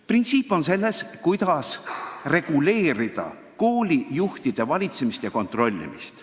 Probleem on selles, kuidas reguleerida koolide valitsemist ja koolijuhtide kontrollimist.